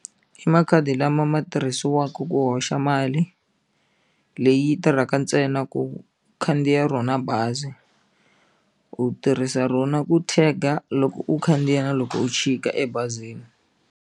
I makhadi lama ma tirhisiwaka ku hoxa mali leyi tirhaka ntsena ku khandziya rona bazi u tirhisa rona ku tag-a loko u khandziya na loko u chika ebazini.